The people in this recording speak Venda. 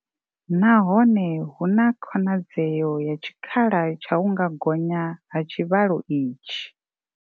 Nahone hu na khonadzeo ya tshikhala tsha u nga gonya ha tshivhalo itshi.